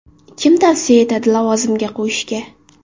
Kim tavsiya etadi lavozimga qo‘yishga?